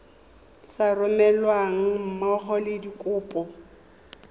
sa romelweng mmogo le dikopo